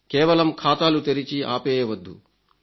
కేవలం ఖాతాలు తెరిచి ఆపేయవద్దు